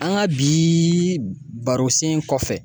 An ka biiii baro sen kɔfɛ.